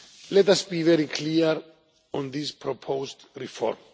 Let us be very clear on this proposed reform.